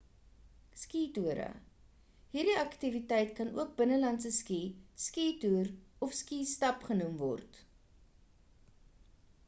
ski toere hierdie aktiwiteit kan ook binnelandse ski ski toer of ski stap genoem word